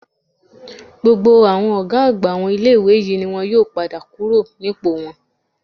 Gbogbo àwọn ọ̀gá àgbà àwọn ilé-ìwé yìí ni wọn yóò padà kúrò nípò wọn